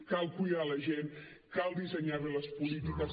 cal cuidar la gent cal dissenyar bé les polítiques